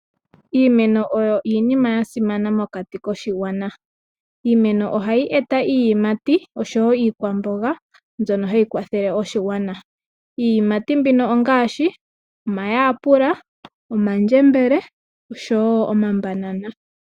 Iimeno oyo iinima yasimana mokati koshigwana . Iimeno ohayi eta iiyimati oshowoo iikwamboga mbyono hayi kwathele oshigwana. Iiyimati mbino ongaashi omayapula, omandjembele nomambanana.